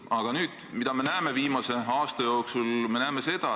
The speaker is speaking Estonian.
Aga mida me oleme viimase aasta jooksul näinud?